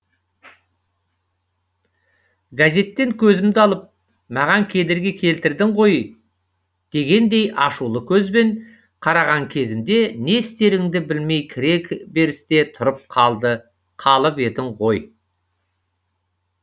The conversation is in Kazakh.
газеттен көзімді алып маған кедергі келтірдің ғой дегендей ашулы көзбен қараған кезімде не істеріңді білмей кіре берісте тұрып қалып едің ғой